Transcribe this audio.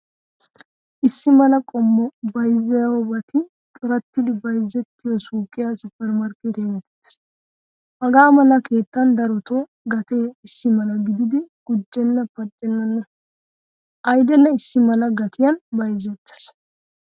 Issi mala qommo bayzziyobatti corattidi bayzzettiyo suuqiyaa supper markkettiyaa geetees. Hagamala keettan darotto gatee issimala gididi gujjena paccenna. Aydene issi mala gatiyan bayzzetees.